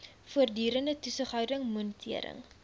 voortdurende toesighouding monitering